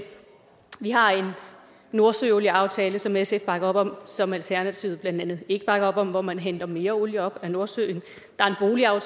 vi har en nordsøolieaftale som sf bakker op om og som alternativet blandt andet ikke bakker op om hvor man henter mere olie op af nordsøen